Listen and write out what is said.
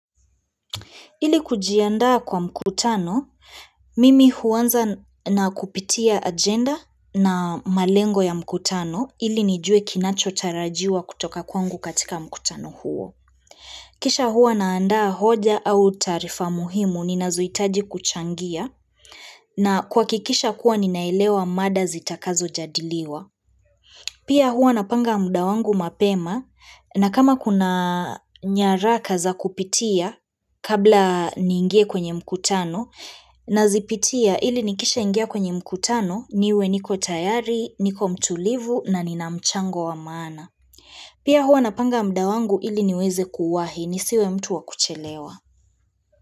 Ili kujiandaa kwa mkutano, mimi huaanza na kupitia agenda na malengo ya mkutano ili nijue kinacho tarajiwa kutoka kwangu katika mkutano huo. Kisha huwa naandaa hoja au taarifa muhimu ninazoitaji kuchangia na kwa kuhakikisha kuwa ninaelewa mada zitakazo jadiliwa. Pia hua napanga muda wangu mapema na kama kuna nyaraka za kupitia kabla niingie kwenye mkutano na zipitia ili nikisha ingia kwenye mkutano niwe niko tayari, niko mtulivu na nina mchango wa maana. Pia hua napanga mda wangu ili niweze kuwahi nisiwe mtu wa kuchelewa.